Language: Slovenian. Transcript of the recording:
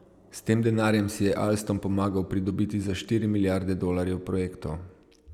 S tem denarjem si je Alstom pomagal pridobiti za štiri milijarde dolarjev projektov.